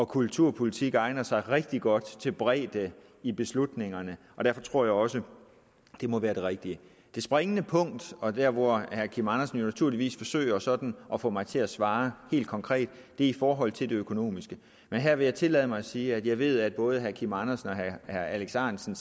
kulturpolitik egner sig rigtig godt til bredde i beslutningerne og derfor tror jeg også at det må være det rigtige det springende punkt og der hvor herre kim andersen jo naturligvis forsøger sådan at få mig til at svare helt konkret er i forhold til det økonomiske men her vil jeg tillade mig at sige at jeg ved at både herre kim andersen og herre alex ahrendtsen